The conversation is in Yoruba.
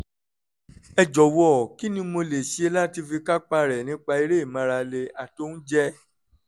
ẹ jọ̀wọ́ kí ni mo lè ṣe láti fi kápá rẹ̀ nípa eré ìmárale àti oúnjẹ?